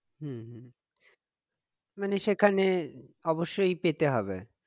হম হম মানে সেখানে অবসসই পেতে হবে